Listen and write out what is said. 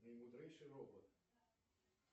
наимудрейший робот